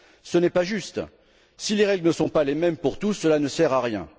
Ce n'est pas juste. Si les règles ne sont pas les mêmes pour tous, cela ne sert à rien.